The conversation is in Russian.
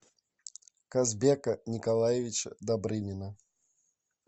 казбека николаевича добрынина